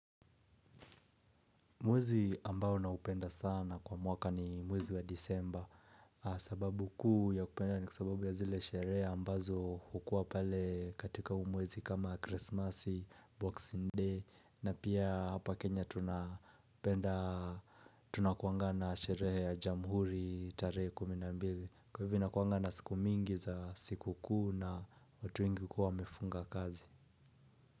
Mwezi ambao naupenda sana kwa mwaka ni mwezi wa disemba sababu kuu ya kupenda ni kwa sababu ya zile sherea ambazo hukuwa pale katika humwezi kama Krisimasi, Boxing Day na pia hapa Kenya tunapenda tunakuanga na sherehe ya jamhuri tarehe kumi na mbili Kwa hivyo inakuanga na siku mingi za siku kuu na watu wengi hukua wamefunga kazi.